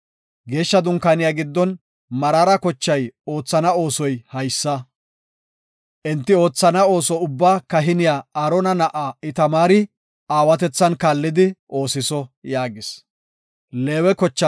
Geeshsha Dunkaaniya giddon Meraara kochay oothana oosoy haysa. Enti oothana ooso ubbaa kahiniya Aarona na7aa Itamaari aawatethan kaallidi oosiso” yaagis.